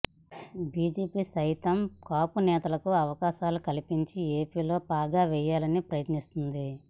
BJP సైతం కాపు నేతలకు అవకాశాలు కల్పించి ఏపీలో పాగా వేయాలని ప్రయత్నిస్తోంది